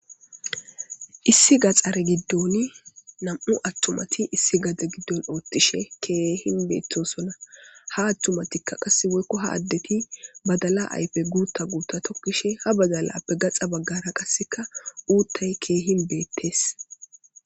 issi gaxare giddoni nam7u attumati issi gada giddon oottishe keehin beettosonna ha attumatikka qasse woykko ha addeti badala aype guutta guutta tokkishe ha badalappe gaxa baggara qasseka uuttay keehin beettes